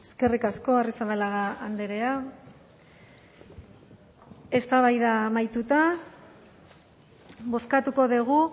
eskerrik asko arrizabalaga andrea eztabaida amaituta bozkatuko dugu